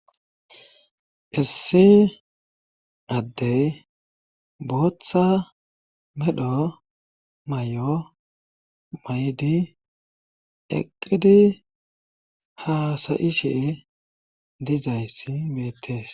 issi addey booththa medho may7o may7di eqqidi haasayishe dizayssi beettees